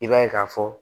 I b'a ye k'a fɔ